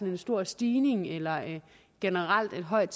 en stor stigning eller generelt et højt